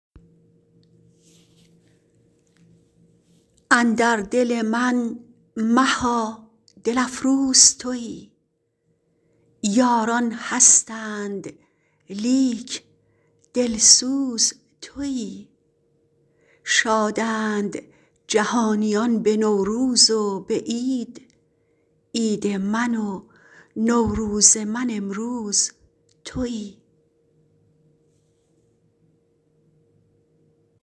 اندر دل من مها دل افروز تویی یاران هستند لیک دلسوز تویی شادند جهانیان به نوروز و به عید عید من و نوروز من امروز تویی